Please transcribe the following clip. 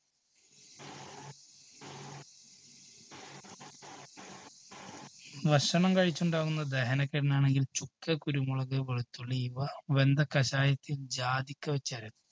ഭക്ഷണം കഴിച്ചുണ്ടാകുന്ന ദഹനക്കേടിനാണെങ്കിൽ ചുക്ക്, കുരുമുളക്, വെളുത്തുള്ളി ഇവ വെന്ത കഷായത്തിൽ ജാതിക്ക വെച്ച് അരയ്